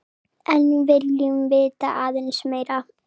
En viljum vita aðeins meira.